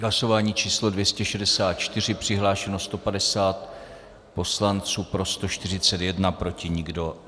Hlasování číslo 264, přihlášeno 150 poslanců, pro 141, proti nikdo.